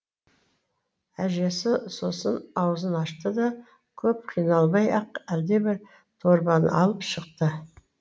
әжесі соның аузын ашты да көп қиналмай ақ әлдебір дорбаны алып шықты